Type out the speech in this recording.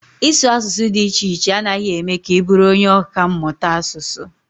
Ịsụ asụsụ dị iche iche anaghị eme ka ị bụrụ onye ọkà mmụta asụsụ.